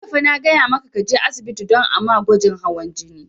Jiya fa na gaya maka ka je asibiti don a ma gwajin hawan jini!